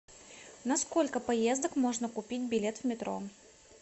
на сколько поездок можно купить билет в метро